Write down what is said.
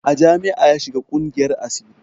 A jami'a ya shiga ƙungiyar asiri